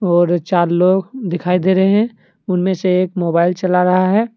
और चार लोग दिखाई दे रहे हैं उनमें से एक मोबाइल चला रहा है।